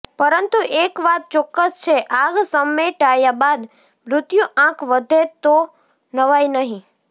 પરંતુ એક વાત ચોક્કસ છે આગ સમેટાયા બાદ મૃત્યુ આંક વધે તો નવાઈ નહીં